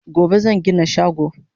Gobe zan gina shago